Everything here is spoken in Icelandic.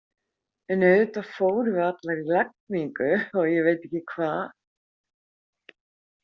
En auðvitað fórum við allar í lagningu og ég veit ekki hvað.